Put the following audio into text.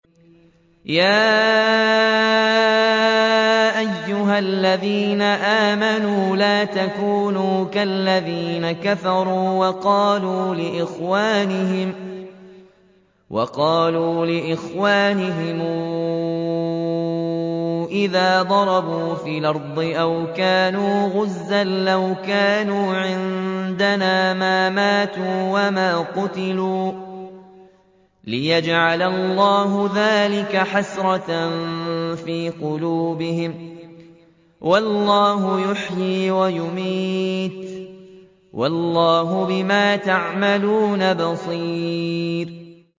يَا أَيُّهَا الَّذِينَ آمَنُوا لَا تَكُونُوا كَالَّذِينَ كَفَرُوا وَقَالُوا لِإِخْوَانِهِمْ إِذَا ضَرَبُوا فِي الْأَرْضِ أَوْ كَانُوا غُزًّى لَّوْ كَانُوا عِندَنَا مَا مَاتُوا وَمَا قُتِلُوا لِيَجْعَلَ اللَّهُ ذَٰلِكَ حَسْرَةً فِي قُلُوبِهِمْ ۗ وَاللَّهُ يُحْيِي وَيُمِيتُ ۗ وَاللَّهُ بِمَا تَعْمَلُونَ بَصِيرٌ